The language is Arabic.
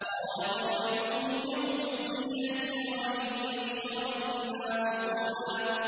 قَالَ مَوْعِدُكُمْ يَوْمُ الزِّينَةِ وَأَن يُحْشَرَ النَّاسُ ضُحًى